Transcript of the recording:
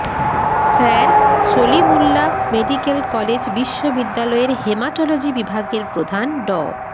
sir Salimullah medical college বিশ্ববিদ্যালয়ের haematology বিভাগের প্রধান ড